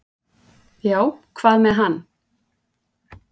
"""Já, hvað með hann?"""